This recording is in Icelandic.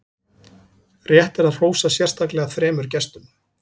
rétt er að hrósa sérstaklega þremur gestum